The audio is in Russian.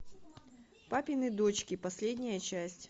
папины дочки последняя часть